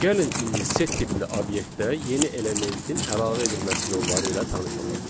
Gəlin indi set tipli obyektə yeni elementin əlavə edilməsi yolları ilə tanış olaq.